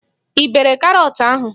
Ị bere karọt ahụ?